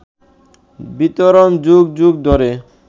বিতরণ যুগ যুগ ধরে